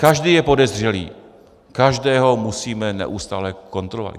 Každý je podezřelý, každého musíme neustále kontrolovat.